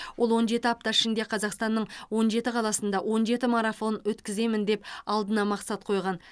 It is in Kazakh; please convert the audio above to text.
ол он жеті апта ішінде қазақстанның он жеті қаласында он жеті марафон өткіземін деп алдына мақсат қойған